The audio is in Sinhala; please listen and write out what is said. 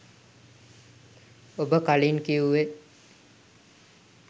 ඔබ කලින් කිව්වෙ